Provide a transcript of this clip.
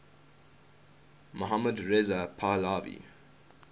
mohammad reza pahlavi